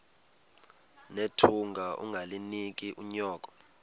nethunga ungalinik unyoko